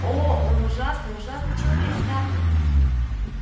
о он ужасный ужасный человек скарлетт